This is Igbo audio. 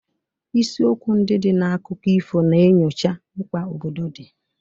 Isiokwu ndị dị na akụkọ ifo na-enyocha mkpa obodo dị.